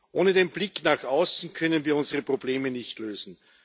Ohne den Blick nach außen können wir unsere Probleme nicht lösen.